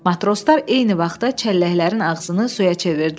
Matroslar eyni vaxtda çəlləklərin ağzını suya çevirdilər.